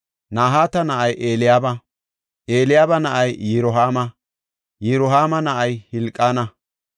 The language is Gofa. Nahaata na7ay Eliyaaba; Eliyaaba na7ay Yirohaama; Yirohaama na7ay Hilqaana.